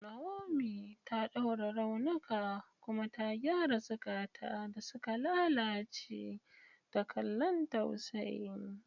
Naomi ta ɗaure raunuka kuma ta gyara zukata da suka lalace da kallon tausayi.